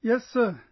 Yes sir